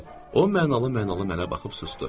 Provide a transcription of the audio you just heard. O mənalı-mənalı mənə baxıb susdu.